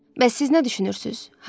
Bəs siz nə düşünürsüz, Hari?